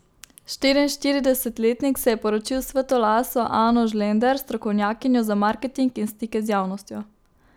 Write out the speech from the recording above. Štiriinštiridesetletnik se je poročil s svetlolaso Ano Žlender, strokovnjakinjo za marketing in stike z javnostjo.